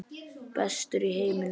Bestur í heiminum?